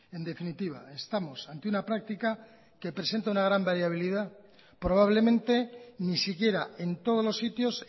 en definitiva estamos ante una práctica que presenta una gran variabilidad probablemente ni siquiera en todos los sitios